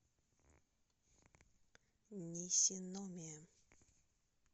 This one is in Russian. нисиномия